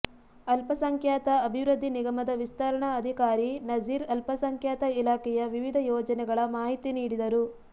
ಅಲ್ಪಸಂಖ್ಯಾತ ಅಭಿವೃದ್ಧಿ ನಿಗಮದ ವಿಸ್ತರಣಾ ಅಧಿಕಾರಿ ನಝೀರ್ ಅಲ್ಪಸಂಖ್ಯಾತ ಇಲಾಖೆಯ ವಿವಿಧ ಯೋಜನೆಗಳ ಮಾಹಿತಿ ನೀಡಿದರು